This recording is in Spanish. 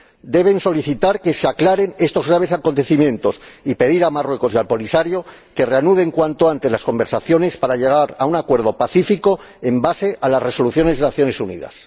deben solicitar que se aclaren estos graves acontecimientos y pedir a Marruecos y al Polisario que reanuden cuanto antes las conversaciones para llegar a un acuerdo pacífico sobre la base de las Resoluciones de las Naciones Unidas.